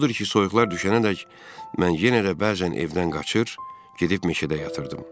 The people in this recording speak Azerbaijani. Odur ki, soyuqlar düşənədək mən yenə də bəzən evdən qaçır, gedib meşədə yatırdım.